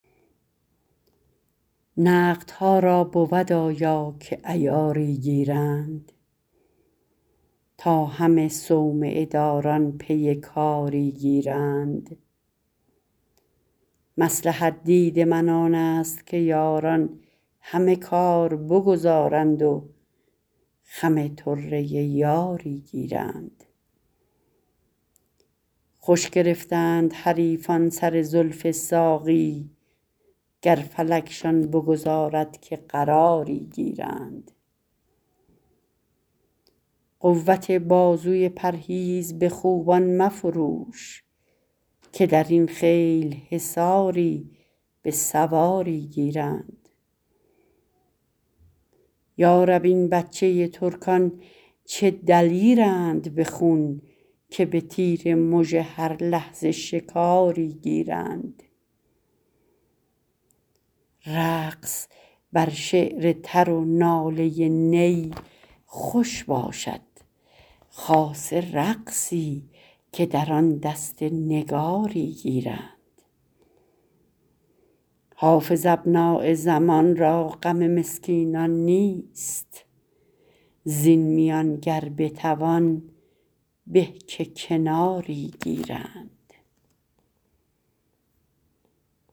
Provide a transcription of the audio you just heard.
نقدها را بود آیا که عیاری گیرند تا همه صومعه داران پی کاری گیرند مصلحت دید من آن است که یاران همه کار بگذارند و خم طره یاری گیرند خوش گرفتند حریفان سر زلف ساقی گر فلکشان بگذارد که قراری گیرند قوت بازوی پرهیز به خوبان مفروش که در این خیل حصاری به سواری گیرند یا رب این بچه ترکان چه دلیرند به خون که به تیر مژه هر لحظه شکاری گیرند رقص بر شعر تر و ناله نی خوش باشد خاصه رقصی که در آن دست نگاری گیرند حافظ ابنای زمان را غم مسکینان نیست زین میان گر بتوان به که کناری گیرند